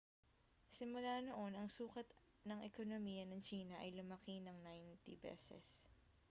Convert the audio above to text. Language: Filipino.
simula noon ang sukat ng ekonomiya ng tsina ay lumaki nang 90 beses